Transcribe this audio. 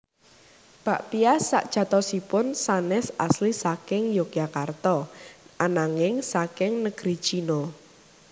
Bakpia sajatosipun sanés asli saking Yogyakarta ananging saking negeri China